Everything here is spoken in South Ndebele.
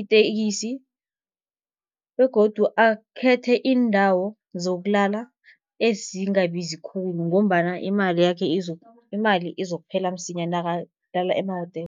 itekisi. Begodu akhethe iindawo zokulala ezingabizi khulu, ngombana imali yakhe imali izokuphela msinya nakalala emahotela.